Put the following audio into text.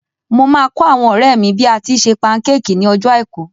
Mo máa kọ́ àwọn ọ̀rẹ́ mi bí a tíi se pancake ní ọjọ́ àìkú.